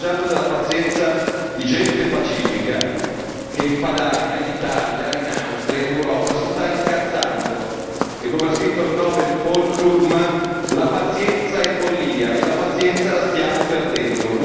State abusando della pazienza di gente pacifica che in Padania, in Italia, in Austria, in Europa, si sta incazzando e come ha scritto il nobel Paul Krugman la pazienza è follia e la pazienza la stiamo perdendo!